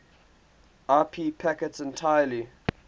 ip packets entirely